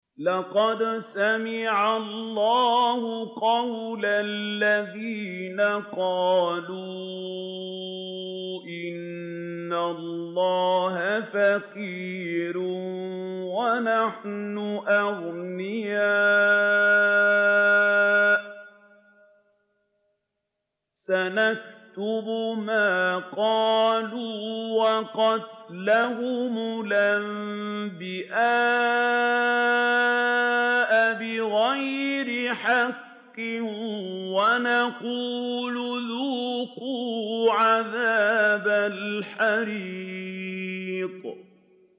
لَّقَدْ سَمِعَ اللَّهُ قَوْلَ الَّذِينَ قَالُوا إِنَّ اللَّهَ فَقِيرٌ وَنَحْنُ أَغْنِيَاءُ ۘ سَنَكْتُبُ مَا قَالُوا وَقَتْلَهُمُ الْأَنبِيَاءَ بِغَيْرِ حَقٍّ وَنَقُولُ ذُوقُوا عَذَابَ الْحَرِيقِ